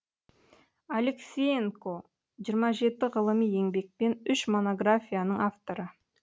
алексеенко жиырма жеті ғылыми еңбек пен үш монографияның авторы